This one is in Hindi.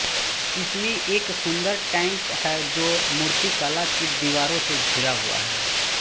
इसमें एक सुंदर टैंक है जो मूर्तिकला की दीवारों से घिरा हुआ है